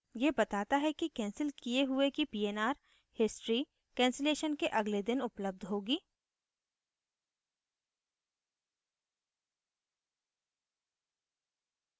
यह बताता है कैंसिल किये हुए की pnr history cancellation के अगले दिन उपलब्ध होगी